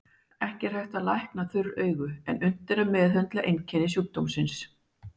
Ekki er hægt að lækna þurr augu en unnt er að meðhöndla einkenni sjúkdómsins.